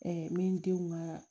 n bɛ n denw ka